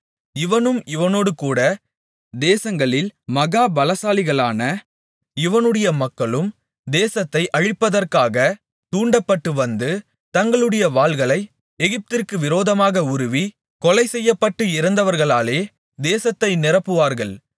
இவனும் இவனோடு கூடத் தேசங்களில் மகா பலசாலிகளான இவனுடைய மக்களும் தேசத்தை அழிப்பதற்காக தூண்டப்பட்டு வந்து தங்களுடைய வாள்களை எகிப்திற்கு விரோதமாக உருவி கொலை செய்யப்பட்டு இறந்தவர்களாலே தேசத்தை நிரப்புவார்கள்